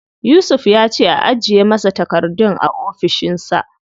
Yusuf ya ce a ajiye masa takardun a ofishin sa.